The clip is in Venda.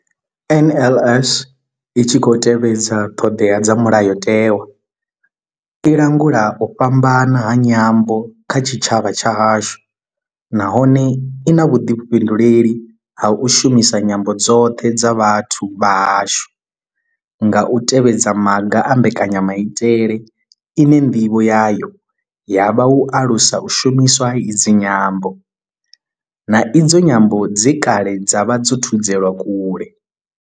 NLS I tshi khou tevhedza ṱhodea dza mulayotewa, i langula u fhambana ha nyambo kha tshitshavha tshashu nahone I na vhuḓifhinduleli ha u shumisa nyambo dzoṱhe dza vhathu vha hashu nga u tevhedza maga a mbekanyamaitele ine nḓivho yayo ya vha u alusa u shumiswa ha idzi nyambo, na idzo nyambo dze kale dza vha dzo thudzelwa kule.